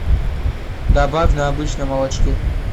добавь на обычном молочке